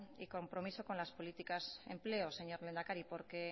y compromiso con las políticas de empleo señor lehendakari porque